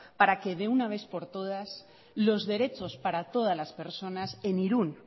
para que de una vez por todas los derechos para todas las personas en irun